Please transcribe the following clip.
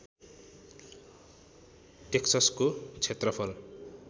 टेक्ससको क्षेत्रफल